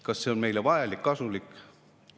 Kas see on meile vajalik, kasulik?